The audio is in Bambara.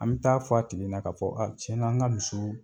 An bɛ taa fɔ a tigi ɲɛna k'a fɔ a tiɲɛna, an ka misiw